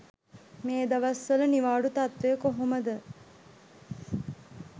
මේ දවස්වල නිවාඩු තත්වය කොහොමද.